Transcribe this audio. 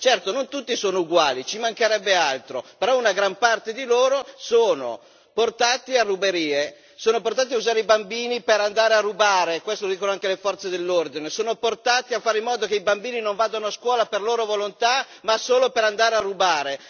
Certo, non tutti sono uguali, ci mancherebbe altro, però una gran parte di loro sono portati a ruberie, sono portati a usare i bambini per andare a rubare questo lo dicono anche le forze dell'ordine sono portati a fare in modo che i bambini non vadano a scuola per loro volontà ma solo per andare a rubare.